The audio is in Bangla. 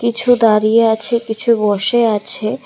কিছু দাঁড়িয়ে আছে কিছু বসে আছে।